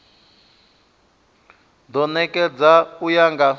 do nekedzwa u ya nga